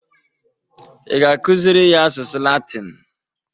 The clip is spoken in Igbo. Ị ga-akụzịrị ya asụsụ latin?